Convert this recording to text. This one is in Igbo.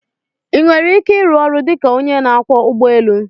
I nwere ike ịrụ ọrụ dị ka onye na akwo ụgbọ élú?